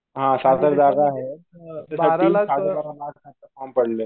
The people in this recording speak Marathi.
हह सात हजार जागा आहेत फॉर्म पडलेत.